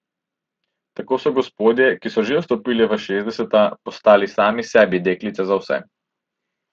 Tako so gospodje, ki so že vstopili v šestdeseta, postali sami sebi deklice za vse.